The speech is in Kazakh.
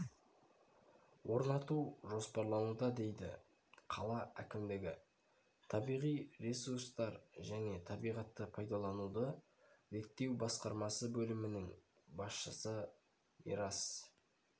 орнату жоспарлануда дейді қала әкімдігі табиғи ресурстар және табиғатты пайдалануды реттеу басқармасы бөлімінің басшысы мирас